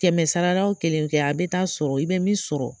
Kɛmɛ sara la kelenw ke a bɛ taa sɔrɔ i bɛ min sɔrɔ